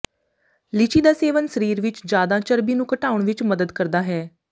ਲੀਚੀ ਦਾ ਸੇਵਨ ਸਰੀਰ ਵਿਚ ਜਿਆਦਾ ਚਰਬੀ ਨੂੰ ਘਟਾਉਣ ਵਿਚ ਮਦਦ ਕਰਦਾ ਹੈ